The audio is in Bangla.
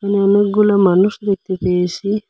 অনেকগুলো মানুষ দেখতে পেয়েসি।